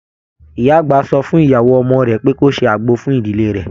Ìyá àgbà sọ fún ìyàwó ọmọ rẹ pé kó ṣe àgbo fún ìdílé rẹ.